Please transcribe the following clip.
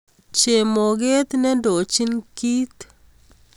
Chemoget nendochin kit